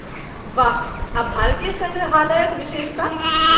वाह... आ भारतीय सङ्ग्रहालयक विशेषता?